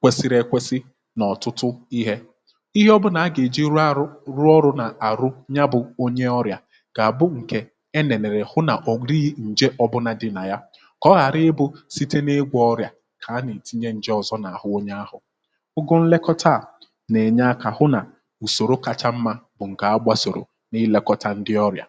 kwesiri ekwesi n’ọ̀tụtụ ihė ihe ọ bụụ nà a gà-èji rụọ arụ um rụọ ọrụ nà àrụ nya bụ̇ onye ọrịà kà àbụ ǹkè kà ọ ghàra ịbụ̇ site n’ịgwọ̇ ọrịà kà a nà-ètinye ǹjọ̀zọ n’àhụ onye ahụ̀ ugu nlekọta nà-ènye akȧ hụ nà ùsòrò kacha mmȧ bụ̀ ǹkè a gbȧsòrò um nà-ílekọta ndị ọrịà.